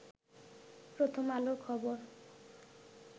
প্রথম আলোর খবর